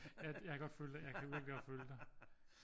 Jeg kan godt følge dig jeg kan virkelig godt følge dig